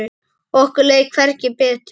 Okkur leið hvergi betur.